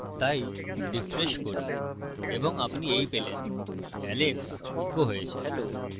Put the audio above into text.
তাই refresh করি এবং আপনি এই পেলেন alex echoed হয়েছে